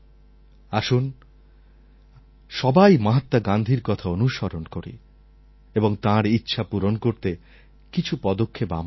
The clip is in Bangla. আসুন সবাই মহাত্মা গান্ধীর কথা অনুসরণ করি এবং তাঁর ইচ্ছা পূরণ করতে কিছু পদক্ষেপ আমরাও নিই